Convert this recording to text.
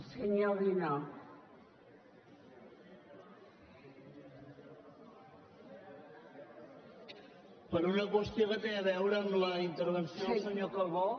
per una qüestió que té a veure amb la intervenció del senyor calbó